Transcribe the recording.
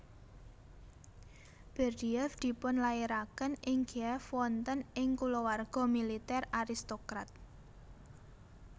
Berdyaev dipunlairaken ing Kiev wonten ing kulawarga militer aristokrat